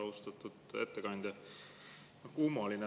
Austatud ettekandja!